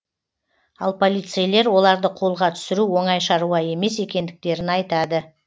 ал полицейлер оларды қолға түсіру оңай шаруа емес екендіктерін айтады